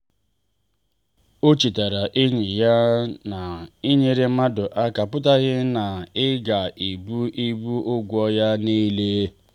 ọ chetara enyi ya na inyere mmadụ aka apụtaghị na ị ga-ebu ibu ụgwọ ya niile.